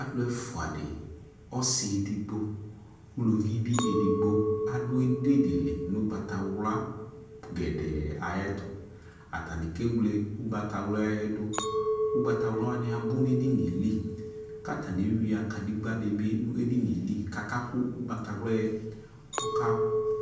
Alu ɛfua de , ɔse edigbo , uluvi be edigbo ado edimi de li no ugbatawla gɛdɛ ayetoAtane ke wle igbatawlaɛ doUgbawla wane abo no edinie li ka atane ewia kadegba ne be ne edinie kaka ko ugbatawla ka